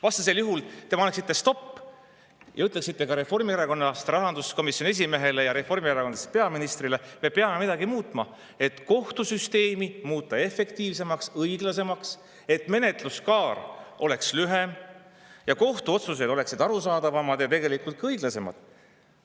Vastasel juhul te paneksite stoppi ja ütleksite ka reformierakondlasest rahanduskomisjoni esimehele ja reformierakondlasest peaministrile, et me peame midagi muutma, et kohtusüsteemi muuta efektiivsemaks, õiglasemaks, et menetluskaar oleks lühem ning kohtuotsused oleksid arusaadavamad ja tegelikult ka õiglasemad.